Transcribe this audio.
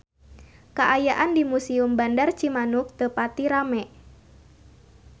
Kaayaan di Museum Bandar Cimanuk teu pati rame